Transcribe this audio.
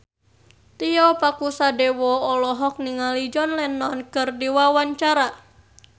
Tio Pakusadewo olohok ningali John Lennon keur diwawancara